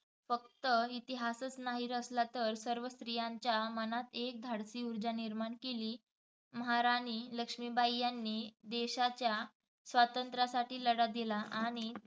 फक्त इतिहासच नाही रचला तर सर्व स्त्रीयांच्या मनात एक धाडसी ऊर्जा निर्माण केली. महाराणी लक्ष्मीबाई यांनी देशाच्या स्वातंत्र्यासाठी लढा दिला, आणि